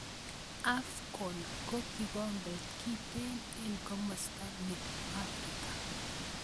AFCON ko kikombet kintee eng komosta ne Afrika.